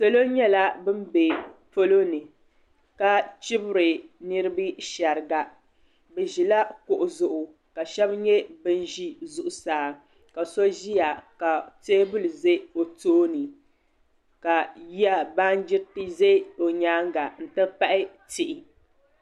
Salo nyɛla bini bɛ polo ni ka chibiri niriba shɛriga bi zila kuɣu zuɣu ka shɛba nyɛ bini zi zuɣusaa ka so ziya ka tɛɛbuli zɛ o tooni ka yiya banjiriti za o yɛanga n ti pahi tihi.